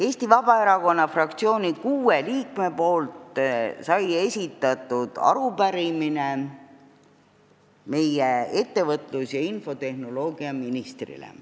Eesti Vabaerakonna fraktsiooni kuue liikme nimel esitasime arupärimise meie ettevõtlus- ja infotehnoloogiaministrile.